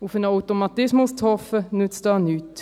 Auf einen Automatismus zu hoffen, nützt nichts.